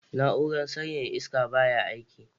Na'urar sanyaya iska baya aiki.